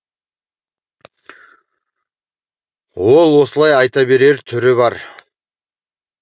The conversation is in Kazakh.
ол осылай айта берер түрі бар